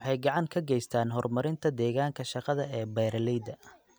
Waxay gacan ka geystaan ??horumarinta deegaanka shaqada ee beeralayda.